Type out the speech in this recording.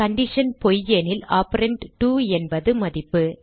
condition பொய்யெனில் operand 2 என்பது மதிப்பு